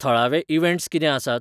थळावे इवँट्स कितें आसात?